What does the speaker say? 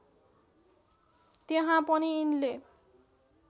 त्यहाँ पनि यिनले